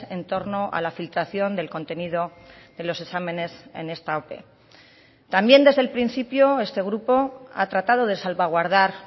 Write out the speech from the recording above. en torno a la filtración del contenido de los exámenes en esta ope también desde el principio este grupo ha tratado de salvaguardar